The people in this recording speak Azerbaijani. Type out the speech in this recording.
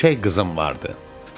Göyçək qızım vardı.